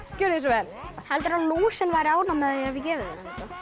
gjörið svo vel heldurðu að lúsin væri ánægð með ef við gefum þeim